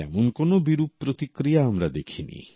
তেমন কোনো বিরূপ প্রতিক্রয়া আমরা দেখি নি